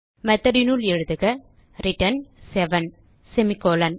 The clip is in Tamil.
methodனுள் எழுதுக ரிட்டர்ன் செவன் செமிகோலன்